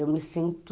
Eu me sinto...